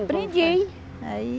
Aprendi. Aí